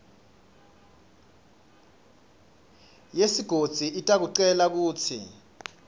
yesigodzi itakucela kutsi